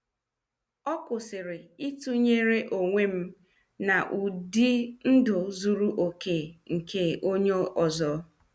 A kwụsịrị itunyere onwem na ụdị ndụ zuru okè nke onye ọzọ.